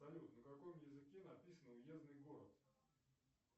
салют на каком языке написан уездный город